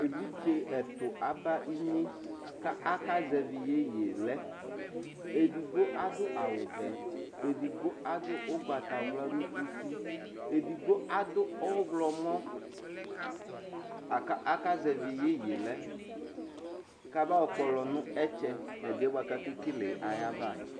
evidze ɛtu aba inyekʋ akazɛvi yeye lɛ edigbo adʋ awu vɛedigbo adʋ ugbatawla nʋ uti edigbo adʋ ɔɣlɔmɔlakʋ akazɛvi yeye yɛ lɛkʋ abayɔ kpɔlɔ nʋ ɛtsɛ nu ɛdiyɛ buakʋ akekele yɛ ayiʋ ava